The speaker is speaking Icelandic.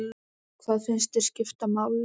Hvað finnst þér skipta máli?